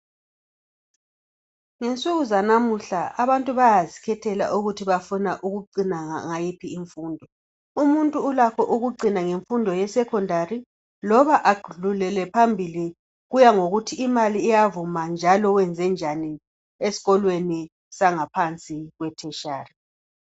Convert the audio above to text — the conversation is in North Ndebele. Ngensuku zanamhla abantu bayazikhethela ukuthi bafuna ukucina ngayiphi imfundo. Umuntu ulakho ukucina ngemfundo yesecondary loba adlulele phambili. Kuyangokuthi imali iyavuma njalo wenzenjani esikolweni sangaphansi kwe tertiary.